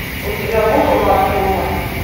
у тебя будет влад фурман